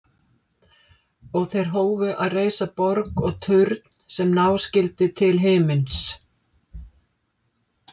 Og þeir hófu að reisa borg og turn sem ná skyldi til himins.